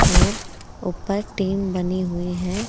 और ऊपर टीन बनी हुई है।